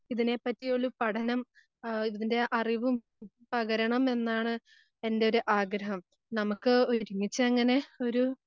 ഇതിനെപ്പറ്റി ഒരു പഠനം ആഹ് ഇതിൻറെ അറിവും പകരണമെന്നാണ് എന്റെയൊരു ആഗ്രഹം. നമുക്ക് ഒരുമിച്ചങ്ങനെ